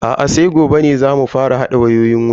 Aa sai gobe ne zamu fara hada wayoyin wutan.